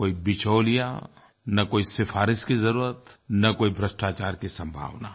न कोई बिचौलिया न कोई सिफ़ारिश की ज़रूरत न कोई भ्रष्टाचार की सम्भावना